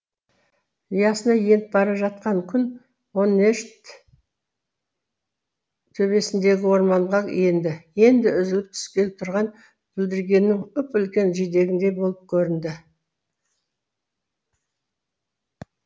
ұясына еніп бара жатқан күн онешт төбесіндегі орманға енді енді үзіліп түскелі тұрған бүлдіргеннің үп үлкен жидегіндей болып көрінді